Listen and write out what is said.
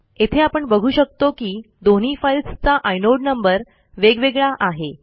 येथे आपण बघू शकतो की दोन्ही फाईलस् चा आयनोड नंबर वेगवेगळा आहे